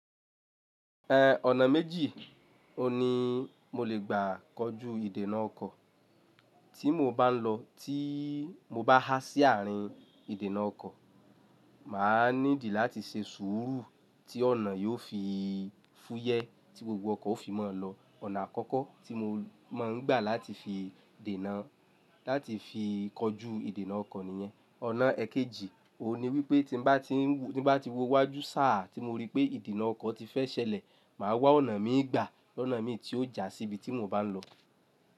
Eh, ọ̀nà méjì ni mo lè gbà kọju ìdènà ọkọ̀. Tí mo bá ń lọ, tí mo bá há sí àárín ìdènà ọkọ̀, màá nídìí láti ṣe sùúrù tí ọ̀nà yóò fi fúyẹ́ tí gbogbo ọkọ̀ ó fi mọ́ lọ. Ọ̀nà àkọ́kọ́ tí mo máa ń gbà láti fi dènà láti fi kọju ìdènà ọkọ̀ nìyẹn. Ọ̀nà èkejì ni wípé tí bá tí ń ti bá ti wọ wájú sàá tí mo rí pé ìdènà ọkọ̀ ti fẹ́ ṣẹlẹ̀, màá wa ọ̀nà mi gbà, ọ̀nà mi tí ó ja síbi tí mo bá ń lọ.